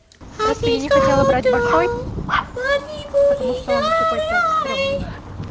просто я не хотела брать большой потому что он какой-то стрёмный